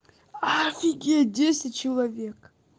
офигеть десять человек